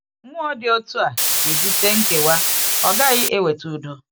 Mmụọ dị otu a ga-ebute nkewa; ọ gaghị eweta udo.